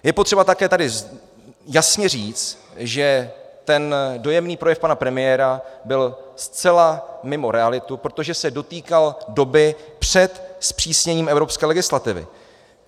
Je potřeba také tady jasně říct, že ten dojemný projev pana premiéra byl zcela mimo realitu, protože se dotýkal doby před zpřísněním evropské legislativy.